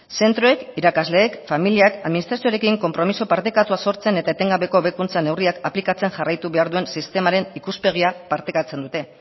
zentroek irakasleek familiak administrazioarekin konpromiso partekatua sortzen eta etengabeko hobekuntza neurriak aplikatzean jarraitu behar duen sistemaren ikuspegia partekatzen dute